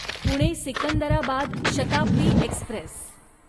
Pune Secunderabad Shatabdi Express